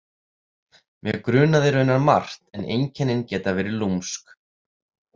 Mig grunaði raunar margt en einkennin geta verið lúmsk.